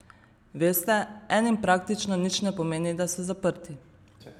Veste, enim praktično nič ne pomeni, da so zaprti.